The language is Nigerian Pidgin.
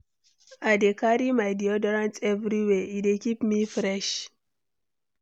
I dey carry my deodorant everywhere; e dey keep me fresh.